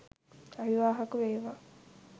අවිවාහක වේවා